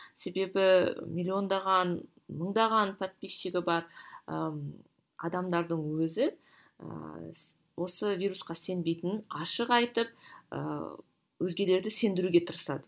себебі миллиондаған мыңдаған подписчигі бар ы адамдардың өзі ыыы осы вирусқа сенбейтінін ашық айтып ыыы өзгелерді сендіруге тырысады